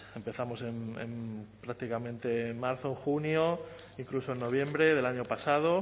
pues empezamos en prácticamente en marzo en junio incluso en noviembre del año pasado o